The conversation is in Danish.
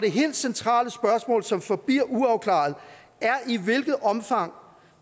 helt centrale spørgsmål som forbliver uafklaret er i hvilket omfang